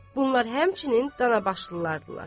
Bunlar həmçinin Danabaşlılardır.